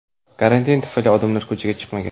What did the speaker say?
Karantin tufayli odamlar ko‘chaga chiqmagan.